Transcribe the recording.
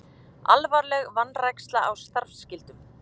Alvarleg vanræksla á starfsskyldum